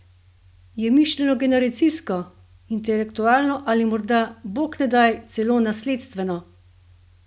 Je mišljeno generacijsko, intelektualno ali morda, bog ne daj, celo nasledstveno?